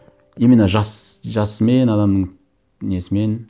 именно жасымен адамның несімен